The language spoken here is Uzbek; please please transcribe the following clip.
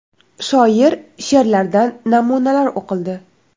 Shoir she’rlaridan namunalar o‘qildi.